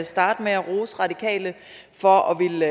starte med at rose radikale for at ville